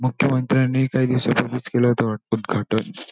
मुख्यमंत्र्यांनी काही दिवसापूर्वीच केलं होतं उदघाटन.